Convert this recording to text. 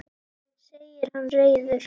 segir hann reiður.